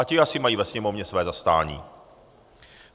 A ti asi mají ve Sněmovně své zastání.